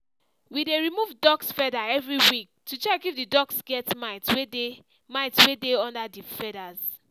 we dey remove duck's feather every week to check if the duck's get mites wey dey mites wey dey under the feathers